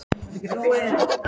Þú stendur þig vel, Berghildur!